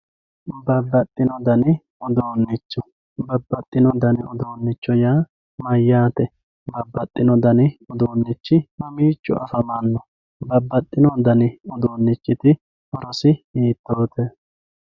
Babaxinodani uduunicho babaxino dani udunichono yaa mayatae babaxino dnai uduunichi babaxino dani uduunichi mamiciho afamano baaxbino dani udunichiti horosi hiitote .